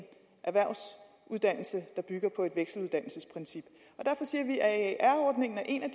erhvervsuddannelse der bygger på et vekseluddannelsesprincip og derfor siger vi at aer ordningen er en af